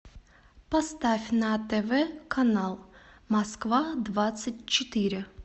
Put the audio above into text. поставь на тв канал москва двадцать четыре